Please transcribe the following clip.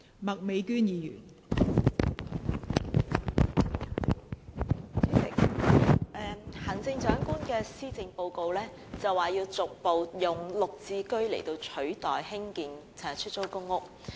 代理主席，行政長官在施政報告中表示要逐步以"綠置居"取代興建出租公屋。